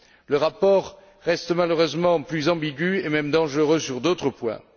Le rapport reste malheureusement plus ambigu et même dangereux sur d'autres points.